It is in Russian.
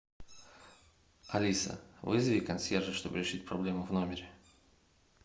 алиса вызови консьержа чтобы решить проблему в номере